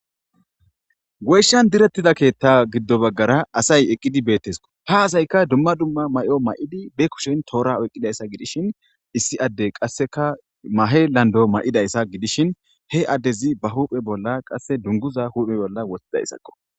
Woyshan direttida keetta giddo baggara asay eqqidi beettesko ta hasayka dumma dumma may7o ma7idi be kushen toora oyqqidayssa gidishin issi adde qasseka mahe lando may7idayssa gidishin he addezi ba huuphe bolla qasse dunguza huuphe bolla wothtidayssakko